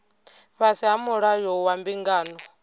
fhasi ha mulayo wa mbingano